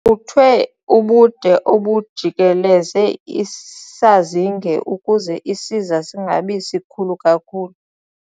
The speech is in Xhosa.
Kucuthwe ubude obujikeleze isazinge ukuze isiza singabi sikhulu kakhulu.